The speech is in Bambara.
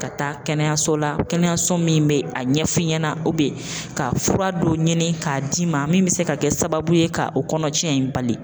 Ka taa kɛnɛyaso la, kɛnɛyaso min bɛ a ɲɛfɔ ɲɛna ka fura dɔw ɲini k'a d'i ma min bɛ se ka kɛ sababu ye ka o kɔnɔtiɲɛ in bali.